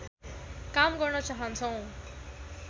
काम गर्न चाहन्छौँ